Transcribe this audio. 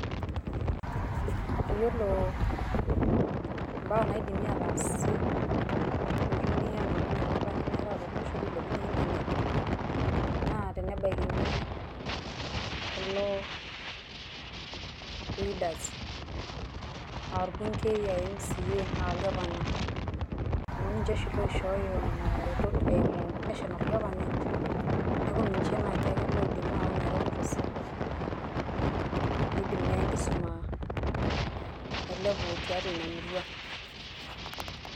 yiolo mbaa naidimi ataas petumi anoto nena baa nimiatata tolosho naa teneabikin pilepunyie internet na pebaikini kulo leaders aa olbunkei, mca oo gavana amu ninje oshi loishoyo nena retot eimu national government neaku ninje naji ake oidim ina retoto sapuk peidim naa enkisuma ailepu tiatua ina murua